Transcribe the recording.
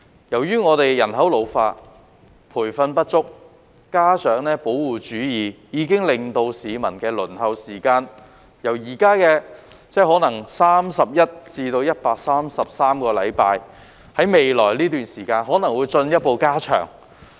由於我們人口老化、培訓不足，加上保護主義，令現時市民的輪候時間可能達31至133個星期，在未來一段時間更可能進一步延長。